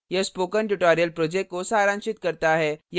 यह spoken tutorial project को सारांशित करता है